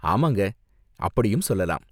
ஆமாங்க, அப்படியும் சொல்லலாம்.